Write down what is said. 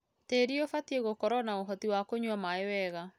Tĩri ũbatie gũkorwo na ũhoti wa kũnywa maĩ wega.